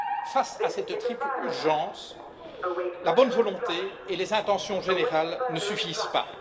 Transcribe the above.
Face à cette triple urgence, la bonne volonté et les intentions générales ne suffisent pas.